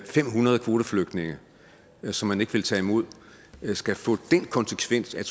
fem hundrede kvoteflygtninge som man ikke vil tage imod skal få den konsekvens at